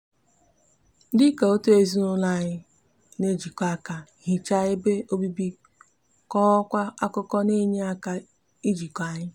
dika otu ezinaulo anyi n'ejikota aka hicha ebe obibi kokwa akuko n'eye aka ijiko anyi